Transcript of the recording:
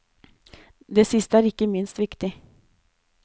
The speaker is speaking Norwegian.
Det siste er ikke minst viktig.